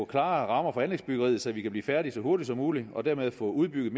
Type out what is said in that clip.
klare rammer for anlægsbyggeriet så vi kan blive færdige så hurtigt som muligt og dermed få udbygget